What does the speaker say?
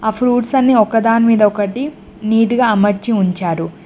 ఆ ఫ్రూట్స్ అన్ని ఒక దాని మీద ఒకటీ నీట్ గా అమర్చి ఉంచారు.